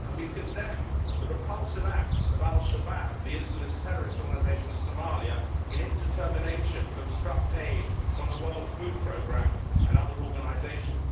We condemn the repulsive acts of Al Shabaab, the Islamist terrorist organisation in Somalia, in its determination to obstruct aid from the World Food Programme and other organisations.